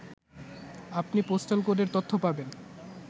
আপনি পোস্টাল কোডের তথ্য পাবেন